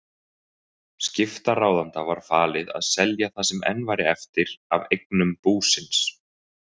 Skiptaráðanda var falið að selja það sem enn væri eftir af eignum búsins.